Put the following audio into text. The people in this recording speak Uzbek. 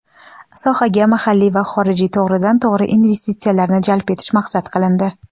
sohaga mahalliy va xorijiy to‘g‘ridan-to‘g‘ri investitsiyalarni jalb etish maqsad qilindi.